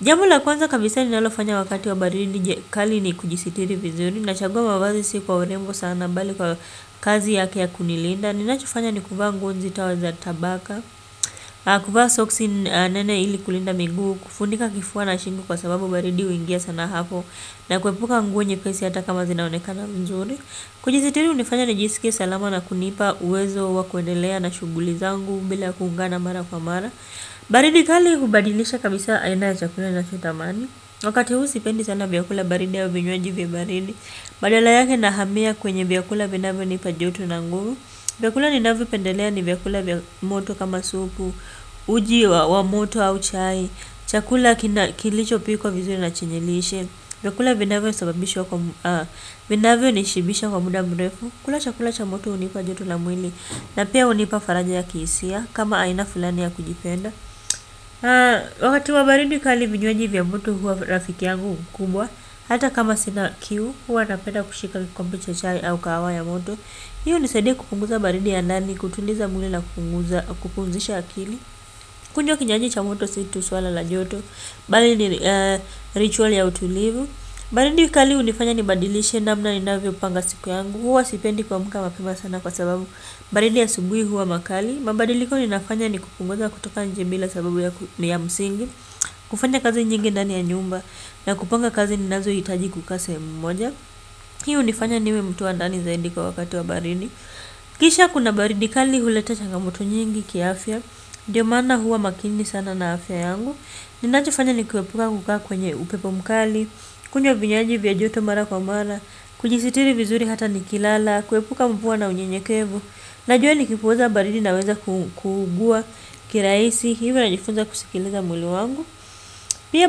Jambo la kwanza kabisa ninalofanya wakati wa baridi je kali ni kujisitiri vizuri, kachagua mavazi si kwa urembo sana bali kwa kazi yake ya kunilinda. Ninachofanya ni kuvaa nguo nzito za tabaka, kuvaa soksi nene ili kulinda miguu, kufunika kifua na shingo kwa sababu baridi huingia sana hapo na kuepuka nguo nyepesi hata kama zinaonekana nzuri. Kujisitiri hunifanya nijisikie salama na kunipa uwezo wa kuendelea na shughuli zangu bila kuungana mara kwa mara. Baridi kali hubadilisha kabisa aina ya chakula ninachotamani. Wakati huu sipendi sana vyakula baridi au vinywaji vya baridi, badala yake nahamia kwenye vyakula vinavyonipa joto na nguvu. Vakula ninavyopendelea ni vyakula vya moto kama supu uji wa moto au chai, chakula kilichopikwa vizuri na chenye lishe, vyakula vinavyonishibisha kwa muda mrefu kula chakula cha moto hunipa joto la mwili, na pia hunipa faraja ya kihisia kama aina fulani ya kujipenda wakati wa baridi kali vinywaji vya moto huwa rafiki yangu mkubwa hata kama sina kiu huwa napenda kushika kikombe cha chai au kahawa ya moto. Hiyo hunisaidia kupunguza baridi ya ndani, kutuliza mwili na kupunguza, kupumzisha akili. Kunjwa kinywaji cha moto si tu swala la joto bali ni ritual ya utulivu. Baridi kali hunifanya nibadilishe namna ninavyopanga siku yangu, huwa sipendi kuamka mapema sana kwa sababu baridi asubuhi huwa makali. Mabadiliko ninafanya ni kupunguza kutoka njimila sababu ya msingi, kufanya kazi nyingi ndani ya nyumba na kupanga kazi ninazo hitaji kukaa sehemu moja. Hii hunifanya niwe mtu wa ndani zaidi kwa wakati wa baridi. Kisha kuna baridi kali huleta changamoto nyingi kiafya, ndio maana huwa makini sana na afya yangu. Ninachofanya ni kuepuka kukaa kwenye upepo mkali, kunywa vinywaji vya joto mara kwa mara, kujisitiri vizuri hata nikilala, kuepuka mvua na unyenyekevu. Najua nikipuuza baridi naweza kuugua kirahisi hivyo najifunza kusikiliza mwili wangu. Pia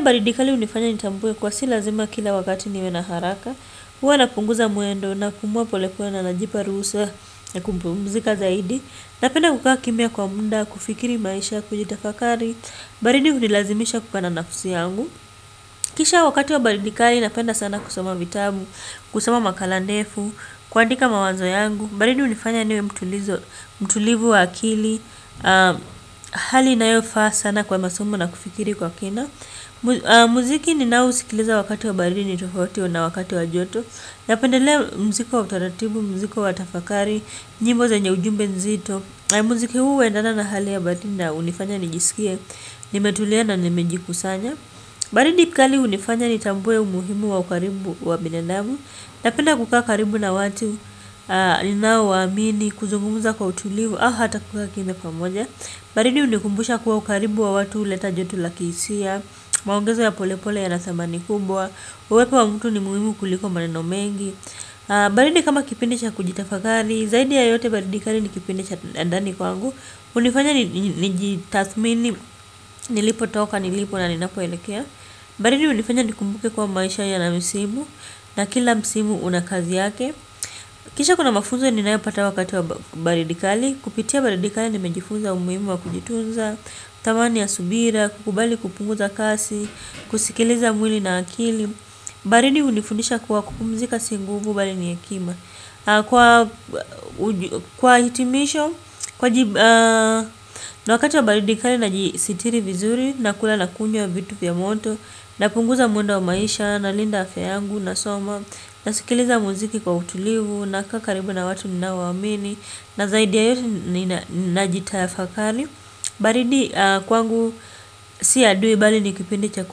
baridi kali hunifanya nitambue kuwa si lazima kila wakati niwe na haraka. Huwa napunguza mwendo, napumua pole pole na najipa ruhusa na kumpumzika zaidi. Napenda kukaa kimya kwa mda, kufikiri maisha, kujitafakari. Baridi hunilazimisha kukaa na nafsi yangu. Kisha wakati wa baridi kali napenda sana kusoma vitabu, kusoma makala nefu, kuandika mawazo yangu. Baridi hunifanya niwe mtulivu wa akili. Hali inayofaa sana kwa masomo na kufikiri kwa kina. Muziki ninaousikiliza wakati wa baridi ni tofauti na wakati wa joto. Napendelea mziko wa utaratibu, mziko wa tafakari, nyimbo zenye ujumbe nzito. Muziki huu huendana na hali ya baridi na hunifanya nijisikie nimetulia na nimejikusanya. Baridi kali hunifanya nitambue umuhimu wa ukaribu wa binadamu. Napenda kukaa karibu na watu ninao waamini, kuzungumza kwa utulivu, au hata kukaa kimya pamoja. Baridi hunikumbusha kuwa ukaribu wa watu huleta joto la kihisia, maongezo ya polepole ya rathamani kubwa, uwepo wa mtu ni muhimu kuliko maneno mengi. Baridi kama kipindi cha kujitafakari. Zaidi ya yote baridi kali ni kipindi cha ndani kwangu. Hunifanya nijitathmini nilipotoka, nilipo na ninapoelekea. Baridi hunifanya nikumbuke kuwa maisha yana misimu. Na kila msimu una kazi yake. Kisha kuna mafunzo ninayopata wakati wa baridi kali. Kupitia baridi kali nimejifunza umuhimu wa kujitunza, thamani ya subira, kukubali kupunguza kasi, kusikiliza mwili na akili. Baridi hunifundisha kuwa kupumzika si nguvu bali ni hekima. Kwa hitimisho na wakati wa baridi kali najisitiri vizuri, nakula na kunywa vitu vya moto, napunguza mwendo wa maisha, nalinda afya yangu, nasoma, nasikiliza muziki kwa utulivu, nakaa karibu na watu ninaowaamini na zaidi ya yote najitafakari. Baridi kwangu si adui bali ni kipindi cha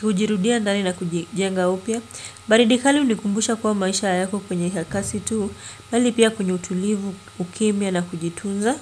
kujirudia ndani na kujijenga upya. Baridi kali hunikumbusha kuwa maisha yako kwenye kasi tu bali pia kwenye utulivu, ukimya na kujitunza.